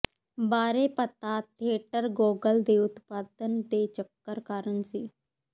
ਬਾਰੇ ਪਤਾ theatre Gogol ਦੇ ਉਤਪਾਦਨ ਦੇ ਚੱਕਰ ਕਾਰਨ ਸੀ